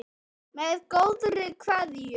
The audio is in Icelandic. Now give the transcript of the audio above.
Með góðri kveðju